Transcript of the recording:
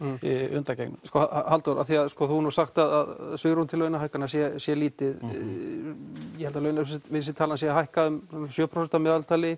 undangengnu Halldór þú hefur sagt að svigrúm til launahækkana sé sé lítið ég held að launavísitalan sé að hækka um sjö prósent að meðaltali